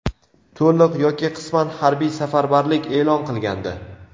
to‘liq yoki qisman harbiy safarbarlik e’lon qilgandi.